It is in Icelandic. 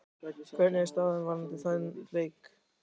Hvernig er staðan varðandi þann leik?